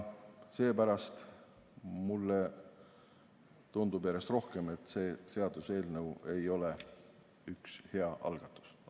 Seepärast tundub mulle järjest rohkem, et see seaduseelnõu ei ole üks hea algatus.